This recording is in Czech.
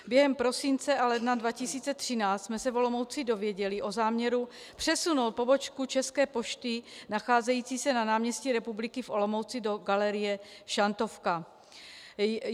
Během prosince a ledna 2013 jsme se v Olomouci dozvěděli o záměru přesunout pobočku České pošty nacházející se na náměstí Republiky v Olomouci do galerie Šantovka.